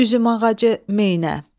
Üzüm ağacı, meynə.